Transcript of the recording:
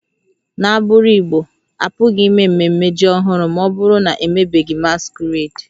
N'agbụrụ Igbo, a pụghị ime ememme ji ọhụrụ ma ọ bụrụ na a na-emebeghị masquerades